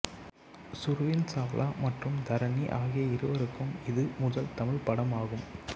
சுர்வீன் சாவ்லா மற்றும் தரணி ஆகிய இருவருக்கும் இது முதல் தமிழ்ப் படம் ஆகும்